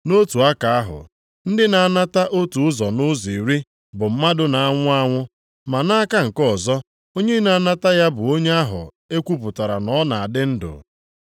Nʼotu aka ahụ, ndị na-anata otu ụzọ nʼụzọ iri bụ mmadụ na-anwụ anwụ, ma nʼaka nke ọzọ, onye na-anata ya bụ onye ahụ e kwupụtara na ọ na-adị ndụ.